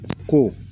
Ko